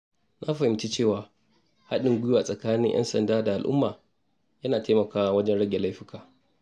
Na fahimci cewa haɗin gwiwa tsakanin ‘yan sanda da al’umma yana taimakawa wajen rage laifuka.